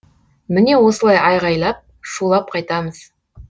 міне осылай айқайлап шулап қайтамыз